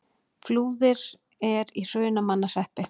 Flúðir er í Hrunamannahreppi.